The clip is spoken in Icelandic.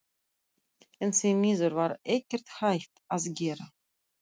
En því miður var ekkert hægt að gera.